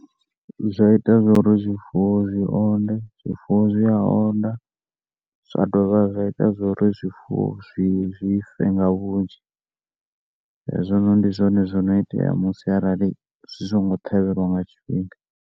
Zwa ita zwauri zwifuwo zwi onde zwifuwo zwi a onda zwa ndo vha zwa ita uri zwifuwo zwi fe nga vhunzi hezwi noni ndi zwono itea musi arali zwi songo ṱhavhelwa nga tshifhinga.